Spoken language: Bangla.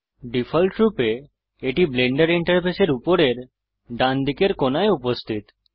ডিফল্টরূপে এটি ব্লেন্ডার ইন্টারফেসের উপরের ডান দিকের কোণায় উপস্থিত